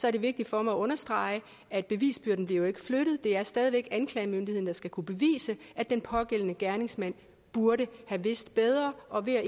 er det vigtigt for mig at understrege at bevisbyrden jo ikke bliver flyttet det er stadig væk anklagemyndigheden der skal kunne bevise at den pågældende gerningsmand burde have vidst bedre og vi er